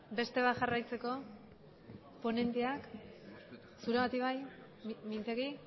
beste bat jarraitzeko ponenteak zuregatik bai mintegi